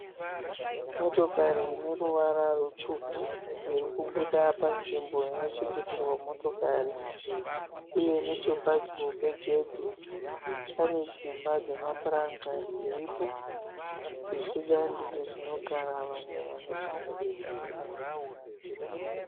motokari ine ruvara rutsvuku irikubuda panzvimbo inochengeterwa motokari ,uye nechepadyo pegedhe pane dzimba dzemapuranga dziripo , zvichida ndidzo dzinogara vanhu vanochengeta motokari mukati.